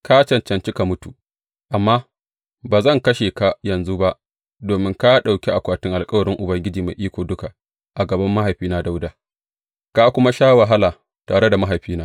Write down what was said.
Ka cancanci ka mutu, amma ba zan kashe ka yanzu ba, domin ka ɗauki akwatin alkawarin Ubangiji Mai Iko Duka a gaban mahaifina Dawuda, ka kuma sha wahala tare mahaifina.